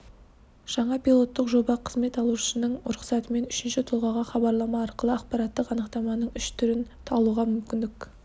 жаңа пилоттық жоба қызмет алушының рұқсатымен үшінші тұлғаға хабарлама арқылы ақпараттық анықтаманың үш түрін алуға мүмкіндік